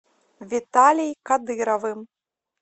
виталей кадыровым